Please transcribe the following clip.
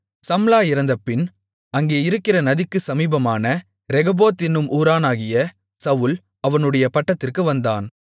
சம்லா இறந்தபின் அங்கே இருக்கிற நதிக்குச் சமீபமான ரெகொபோத் என்னும் ஊரானாகிய சவுல் அவனுடைய பட்டத்திற்கு வந்தான்